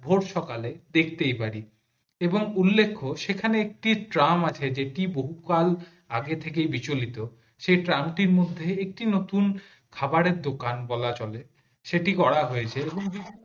ভোর সকালে দেখতেই পারি এবার উল্লেখ্য সেখানে একটি ট্রাম আছে যেটি বহুকাল আগে থেকে বিচলিত সেটা ট্রাম টির মধ্যে একটি নতুন খাবারের দোকান বলা চলে সেটি করা হয়েছে এবং